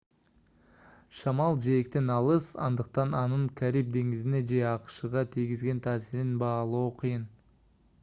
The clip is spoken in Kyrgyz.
шамал жээктен алыс андыктан анын кариб деңизине же акшга тийгизген таасирин баалоо кыйын